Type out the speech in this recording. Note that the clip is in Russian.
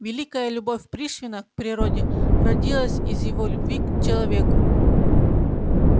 великая любовь пришвина к природе родилась из его любви к человеку